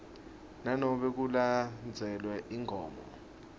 nanobe kulandzelwe imigomo